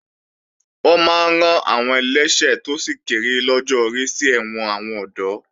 Wọ́n máa rán àwọn ẹlẹ́ṣẹ̀ tó sì kéré lọ́jọ́ orí sí ẹ̀wọ̀n àwọn ọ̀dọ́